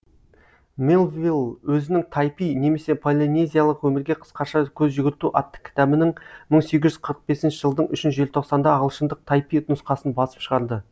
мелвилл өзінің тайпи немесе полинезиялық өмірге қысқаша көз жүгірту атты кітабының мың сегіз жүз қырықбесінші жылдың үшінші желтоқсанында ағылшындық тайпи нұсқасын басып шығарды